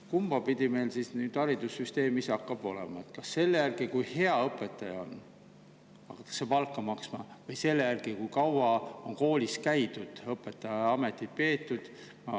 Mispidi meil siis haridussüsteemis hakkab olema: kas palka hakatakse maksma selle järgi, kui hea õpetaja on, või selle järgi, kui kaua on koolis käidud ja õpetajaametit peetud?